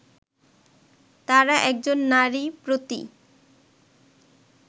তারা একজন নারী প্রতি